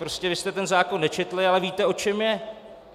Prostě vy jste ten zákon nečetli, ale víte, o čem je!